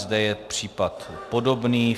Zde je případ podobný.